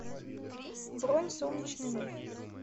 бронь солнечный миф